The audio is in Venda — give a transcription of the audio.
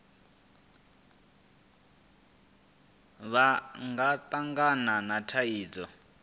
vha nga tangana na thaidzo